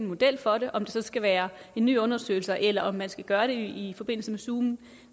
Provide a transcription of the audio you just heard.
model for det om det så skal være en ny undersøgelse eller om man skal gøre det i forbindelse med zoom